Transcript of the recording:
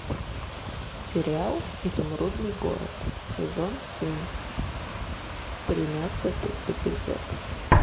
сериал изумрудный город сезон семь тринадцатый эпизод